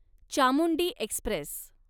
Chamundi Express